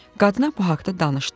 Qadına bu haqda danışdım.